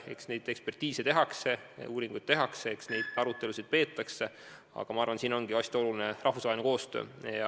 Eks neid ekspertiise ja muid uuringuid tehakse, eks neid arutelusid peetakse, aga ma arvan, et siin on hästi oluline rahvusvaheline koostöö.